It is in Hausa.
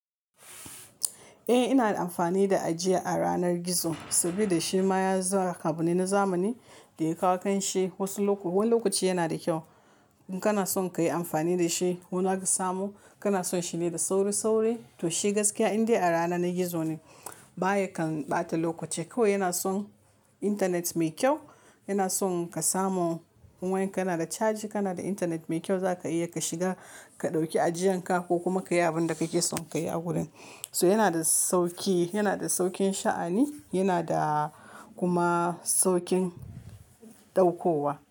Eh ina amfani da ajiya a ranar gizo saboda shi ma ya za abu ne na zamani da ya kawo kan shi wasu wani lokaci yana da kyau in kana son ka yi amfani da shi. Wani aka samo kana son shi ne da sauri-sauri to shi gaskiya indai a rana na gizo ne baya kan ɓata lokaci. Kawai yana son intanet mai kyau, yana son ka samu wayan ka na da caji, kana da intanet mai kyau za ka iya ka shiga ka ɗauki ajiyan ka ko kuma ka yi abin da kake son ka yi a gurin. So yana da sauki, yana da saukin sha'ani, yana da kuma saukin ɗaukowa.